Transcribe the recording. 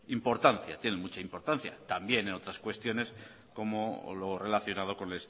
importancia tienen mucha importancia también en otras cuestiones como lo relacionado con